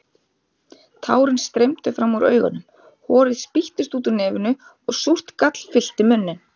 Tárin streymdu fram úr augunum, horið spýttist úr nefinu og súrt gall fyllti munninn.